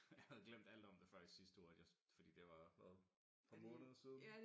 Jeg havde glemt alt om det før i sidste uge at jeg fordi det var hvad nogen måneder siden